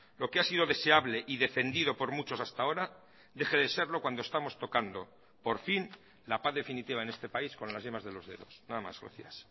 lo que ha sido deseable y defendido por muchos hasta ahora deje de serlo cuando estamos tocando por fin la paz definitiva en este país con las yemas de los dedos nada más gracias